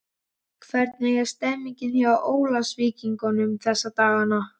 Hvernig er stemmningin hjá Ólafsvíkingum þessa dagana?